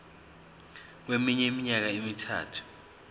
kweminye iminyaka emithathu